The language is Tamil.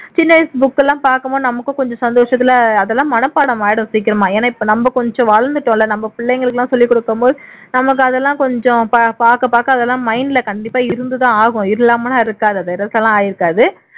சின்ன வயசு book எல்லாம் பாக்கும்போது நமக்கும் கொஞ்சம் சந்தோசத்துல அதெல்லாம் மனப்பாடம் ஆயிரும் சீக்கிரமா ஏன்னா இப்ப நம்ம கொஞ்சம் வளர்ந்துட்டோம் இல்ல நம்ம பிள்ளைங்களுக்கேல்லாம் சொல்லிக்கொடுக்கும்போது நமக்கு அதெல்லாம் கொஞ்சம் பா பாக்க அதெல்லாம் mind ல கண்டிப்பா இருந்துதான் ஆகும் இல்லாம எல்லாம் இருக்காது அது erase எல்லாம் ஆயிருக்காது